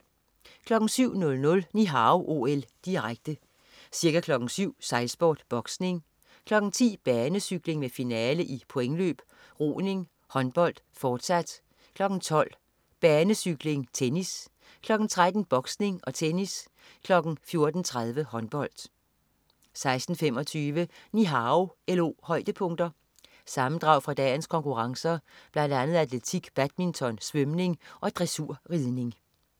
07.00 Ni Hao OL, direkte. Ca. kl. 07.00: Sejlsport, boksning, kl. 10.00: Banecykling med finale i pointløb, roning, håndbold fortsat, kl. 12.00: Banecykling, tennis, kl. 13.00: Boksning og tennis kl. 14.30: Håndbold 16:25 Ni Hao OL-højdepunkter. Sammendrag fra dagens konkurrencer, blandt andet atletik, badminton, svømning og dressurridning